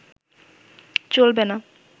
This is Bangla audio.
চলবে না